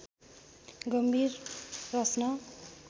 गम्भीर प्रश्न